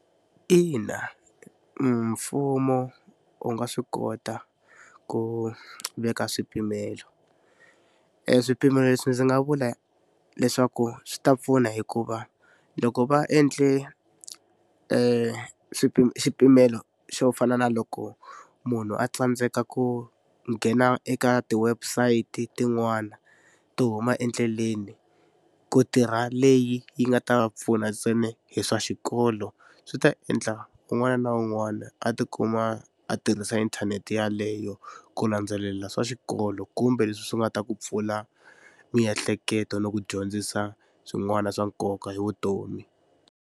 Ina mfumo wu nga swi kota ku veka swipimelo e swipimelo leswi ndzi nga vula leswaku swi ta pfuna hikuva loko va endle xipimelo xo fana na loko munhu a tsandzeka ku nghena eka ti-website tin'wana to huma endleleni ku tirha leyi yi nga ta pfuna ntsena hi swa xikolo swi ta endla un'wana na un'wana a tikuma a tirhisa internet yaleyo ku landzelela swa xikolo kumbe leswi swi nga ta ku pfula miehleketo ni ku dyondzisa swin'wana swa nkoka hi vutomi.